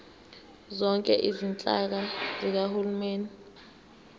zonke izinhlaka zikahulumeni